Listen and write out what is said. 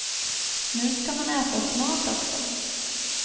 Nu ska man äta smart också.